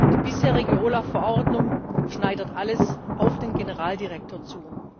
Die bisherige OLAF Verordnung schneidet alles auf den Generaldirektor zu.